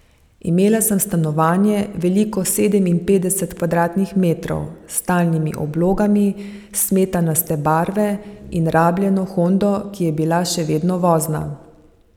Imela sem stanovanje, veliko sedeminpetdeset kvadratnih metrov, s talnimi oblogami smetanaste barve, in rabljeno hondo, ki je bila še vedno vozna.